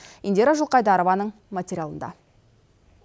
индира жылқайдарованың материалында